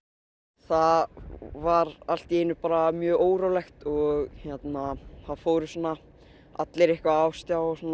það var allt í einu mjög órólegt og það fóru svona allir á stjá og svona